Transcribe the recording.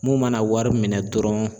Mun mana wari minɛ dɔrɔn